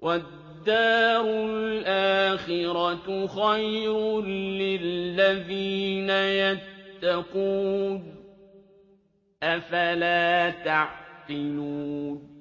وَالدَّارُ الْآخِرَةُ خَيْرٌ لِّلَّذِينَ يَتَّقُونَ ۗ أَفَلَا تَعْقِلُونَ